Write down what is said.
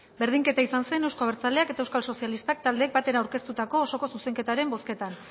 berdinketa izan zen euzko abertzaleak eta euskal sozialistak taldeek batera aurkeztutako osoko zuzenketaren bozketan